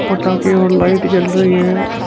पटाखे और लाइट जल रही है। उस --